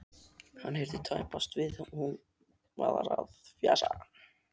Hann heyrði tæpast hvað hún var að fjasa.